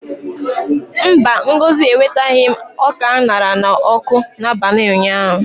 Mba, Ngozi ewetaghị m ọka a ṅara n'ọkụ n'abalị ụnyaahụ.